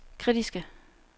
kritiske